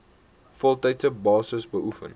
voltydse basis beoefen